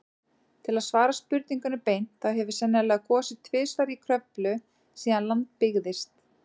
Til að svara spurningunni beint, þá hefur sennilega gosið tvisvar í Kröflu síðan land byggðist.